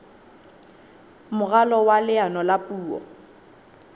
moralo wa leano la puo